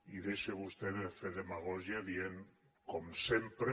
i deixi vostè de fer demagògia dient com sempre